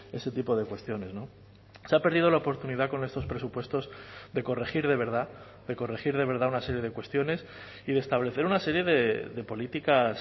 ese tipo de cuestiones se ha perdido la oportunidad con estos presupuestos de corregir de verdad de corregir de verdad una serie de cuestiones y de establecer una serie de políticas